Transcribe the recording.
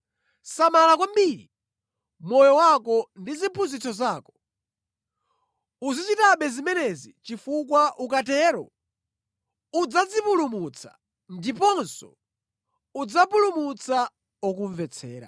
Samala kwambiri moyo wako ndi ziphunzitso zako. Uzichitabe zimenezi chifukwa ukatero, udzadzipulumutsa ndiponso udzapulumutsa okumvetsera.